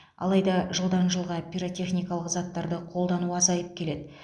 алайда жылдан жылға пиротехникалық заттарды қолдану азайып келеді